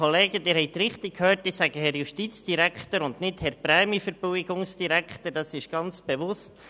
Ich sage «Herr Justizdirektor» und nicht «Herr Prämienverbilligungsdirektor», dies ganz bewusst.